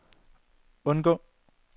undgå